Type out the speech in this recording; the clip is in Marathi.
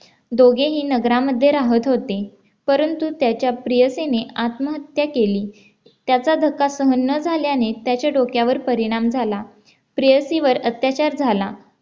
दोघेही नगरामध्ये राहत होते परंतु त्याच्या प्रियसीने आत्महत्या केली त्याचा धक्का सहन न झाल्याने त्याचे डोक्यावर परिणाम झाला प्रेयसीवर अत्याचार झाला